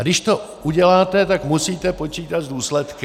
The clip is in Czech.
A když to uděláte, tak musíte počítat s důsledky.